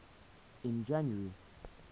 in january